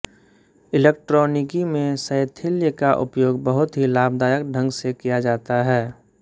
इलेक्ट्रॉनिकी में शैथिल्य का उपयोग बहुत ही लाभदायक ढंग से किया जाता है